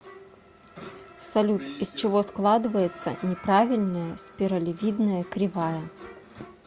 салют из чего складывается неправильная спиралевидная кривая